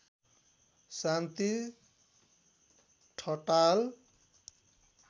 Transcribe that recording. Shanti Thatal